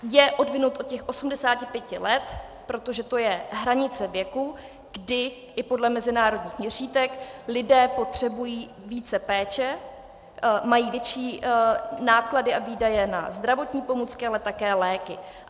Je odvinut od těch 85 let, protože to je hranice věku, kdy i podle mezinárodních měřítek lidé potřebují více péče, mají větší náklady a výdaje na zdravotní pomůcky a také léky.